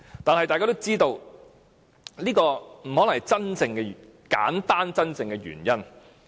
但是，大家都知道這不可能是簡單真正的原因。